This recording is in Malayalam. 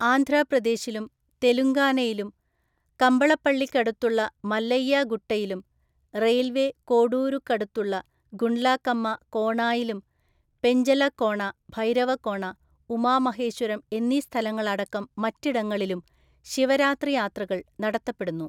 ആന്ധ്രാപ്രദേശിലും തെലുങ്കാനയിലും കമ്പളപ്പള്ളിക്കടുത്തുള്ള മല്ലയ്യ ഗുട്ടയിലും റെയിൽവെ കോഡൂരുക്കടുത്തുള്ള ഗുണ്ട്ലാകമ്മ കോണായിലും, പെഞ്ചലകോണ, ഭൈരവകോണ, ഉമാ മഹേശ്വരം എന്നീസ്ഥലങ്ങളടക്കം മറ്റിടങ്ങളിലും, ശിവരാത്രിയാത്രകൾ നടത്തപ്പെടുന്നു.